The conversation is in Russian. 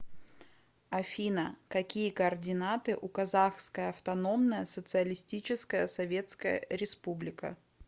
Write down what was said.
афина какие координаты у казахская автономная социалистическая советская республика